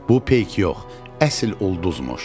Bu peyk yox, əsl ulduzmuş.